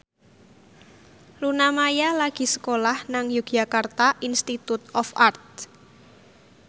Luna Maya lagi sekolah nang Yogyakarta Institute of Art